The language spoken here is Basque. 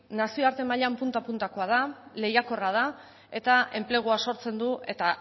nazioarte mailan punta puntakoa da lehiakorra da eta enplegua sortzen du eta